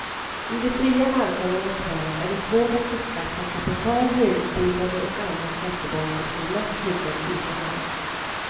I de fria marknadernas värld är det svårt att beskatta kapital, högutbildade och andra skattebaser som lätt flyttar utomlands.